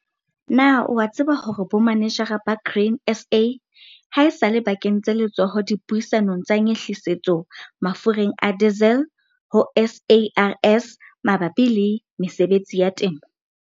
Na o a tseba hore bomanejara ba Grain SA ha esale ba kentse letsoho dipuisanong tsa nyehlisetso mafureng a diesel ho SARS mabapi le mesebetsi ya temo?